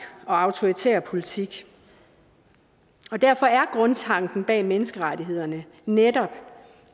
og autoritær politik derfor er grundtanken bag menneskerettighederne netop